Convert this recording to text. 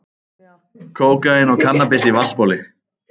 Kókaín og kannabis í vatnsbóli